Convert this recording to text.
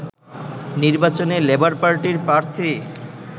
নির্বাচনে লেবার পার্টির প্রার্থী